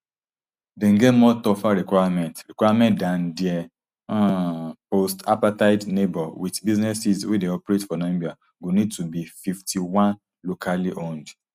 dem get more tougher requirement requirement dan dia um postapartheid neighbour wit businesses wey dey operate for namibia go need to be fifty-one locally owned